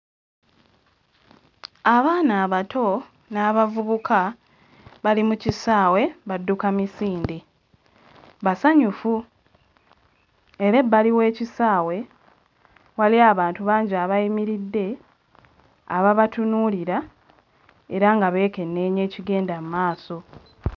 Abaana abato n'abavubuka bali mu kisaawe badduka misinde, basanyufu era ebbali w'ekisaawe waliyo abantu bangi abayimiridde ababatunuulira era nga beekenneenya ekigenda mmaaso.